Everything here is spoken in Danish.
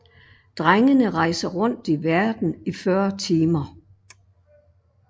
Drengene rejser rundt i verden i 40 timer